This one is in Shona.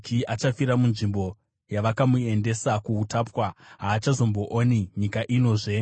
Achafira munzvimbo yavakamuendesa kuutapwa; haachazombooni nyika inozve.”